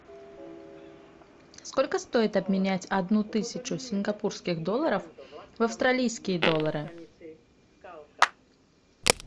сколько стоит обменять одну тысячу сингапурских долларов в австралийские доллары